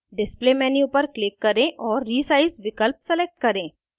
display display menu पर click करें और resize विकल्प select करें